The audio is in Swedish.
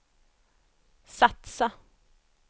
satsa